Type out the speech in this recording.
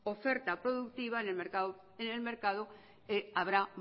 oferta productiva en el mercado habrá